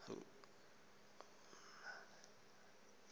lobumanenjala